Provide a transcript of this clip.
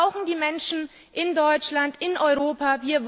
Wir brauchen die Menschen in Deutschland, in Europa.